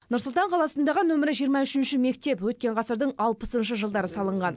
нұр сұлтан қаласындағы нөмірі жиырма үшінші мектеп өткен ғасырдың алпысыншы жылдары салынған